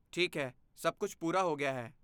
ਠੀਕ ਹੈ। ਸਭ ਕੁਝ ਪੂਰਾ ਹੋ ਗਿਆ ਹੈ।